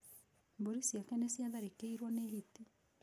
Mbũri ciake nĩ ciatharĩkĩirũo nĩ hiti.